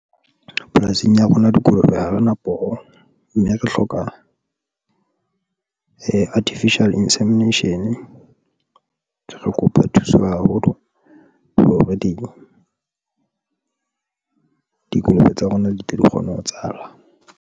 Polasing ya rona dikolobe ha rena poho mme re hloka artificial insemination. Re kopa thuso haholo hore dikolobe tsa rona di tle di kgone ho tsala.